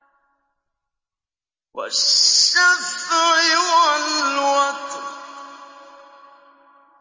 وَالشَّفْعِ وَالْوَتْرِ